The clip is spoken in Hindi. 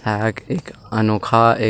है एक अनोखा एक --